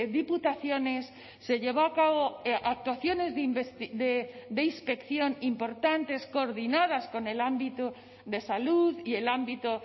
diputaciones se llevó a cabo actuaciones de inspección importantes coordinadas con el ámbito de salud y el ámbito